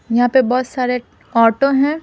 यहां पे बहुत सारे ऑटो हैं।